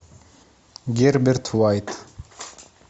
герберт уайт